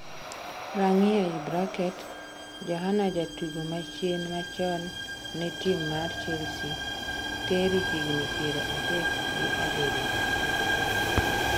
(rang'i) Johana jatugo machien ma chon ne tim mar chelsea, Tery higni piero adek gi abiriyo